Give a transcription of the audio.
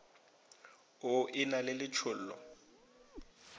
o e na le letšhollo